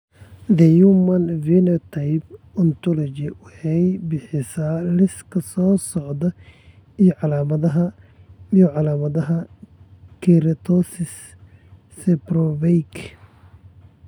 The Human Phenotype Ontology waxay bixisaa liiska soo socda ee calaamadaha iyo calaamadaha Keratosis, seborrheic.